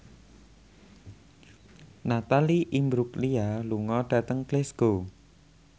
Natalie Imbruglia lunga dhateng Glasgow